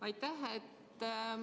Aitäh!